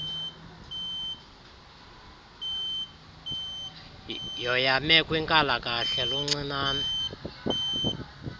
yoyame kwinkalakahla luncinane